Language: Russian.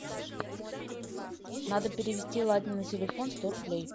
надо перевести ладе на телефон сто рублей